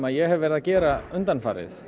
ég hef verið að gera undanfarið